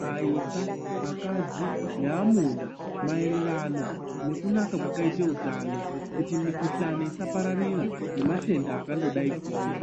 vayisa, akadzi naamuna maeererano nekunaka kwakakaite hutano ,kuti mikuhlane isapararira nematenda akangodai kuwuya.